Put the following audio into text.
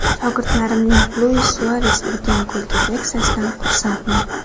Shogirdlarimning Luis Suares urgan golga reaksiyasidan xursandman.